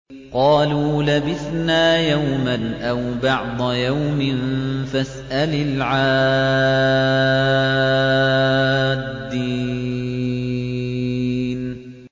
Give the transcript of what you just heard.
قَالُوا لَبِثْنَا يَوْمًا أَوْ بَعْضَ يَوْمٍ فَاسْأَلِ الْعَادِّينَ